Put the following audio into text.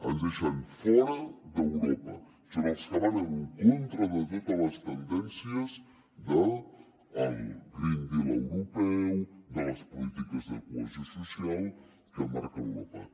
ens deixen fora d’europa són els que van en contra de totes les tendències del green deal europeu de les polítiques de cohesió social que marca europa